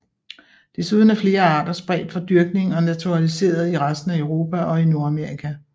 Desuden er flere arter spredt fra dyrkning og naturaliseret i resten af Europa og i Nordamerika